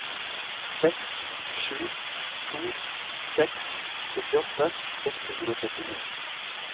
seks sju to seks syttiåtte seks hundre og trettini